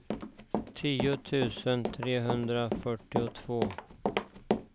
tio tusen trehundrafyrtiotvå